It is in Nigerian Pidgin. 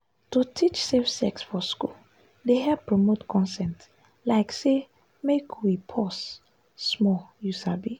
to teach safe sex for school dey help promote consent like say make we pause small you sabi.